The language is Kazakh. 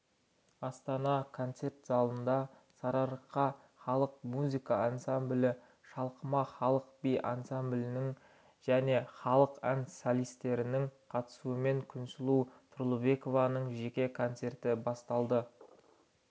астана концерт залында сарыарқа халық музыка ансамблі шалқыма халық би ансамблінің және халық ән солисттерінің қатысуымен күнсұлу тұрлыбекованың жеке концерті басталады